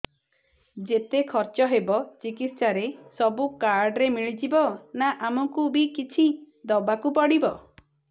ଯେତେ ଖର୍ଚ ହେବ ଚିକିତ୍ସା ରେ ସବୁ କାର୍ଡ ରେ ମିଳିଯିବ ନା ଆମକୁ ବି କିଛି ଦବାକୁ ପଡିବ